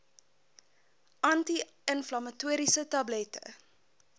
anti inflammatoriese tablette